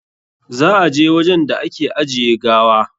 Za a je wajen da ake ajiye gawa?